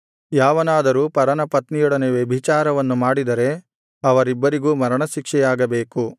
ಯಾವನಾದರೂ ಪರನ ಪತ್ನಿಯೊಡನೆ ವ್ಯಭಿಚಾರವನ್ನು ಮಾಡಿದರೆ ಅವರಿಬ್ಬರಿಗೂ ಮರಣಶಿಕ್ಷೆಯಾಗಬೇಕು